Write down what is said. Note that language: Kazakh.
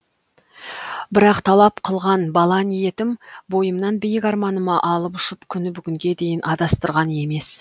бірақ талап қылған бала ниетім бойымнан биік арманыма алып ұшып күні бүгінге дейін адастырған емес